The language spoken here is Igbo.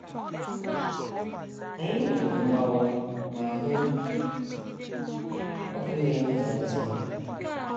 Anyị nụrụ mgbawa ma hụ ọkụ na - enwu zam zam.